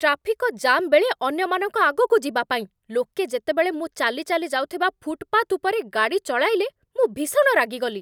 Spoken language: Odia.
ଟ୍ରାଫିକ ଜାମ୍ ବେଳେ ଅନ୍ୟମାନଙ୍କ ଆଗକୁ ଯିବାପାଇଁ, ଲୋକେ ଯେତେବେଳେ ମୁଁ ଚାଲି ଚାଲି ଯାଉଥିବା ଫୁଟ୍‌ପାଥ୍ ଉପରେ ଗାଡ଼ି ଚଳାଇଲେ, ମୁଁ ଭୀଷଣ ରାଗିଗଲି।